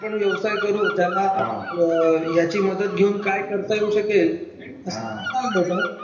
जो काय आपण व्यवसाय करू त्याला ह्याची मदत घेऊन काय करता येऊ शकेल हा असं सांगेलं का ?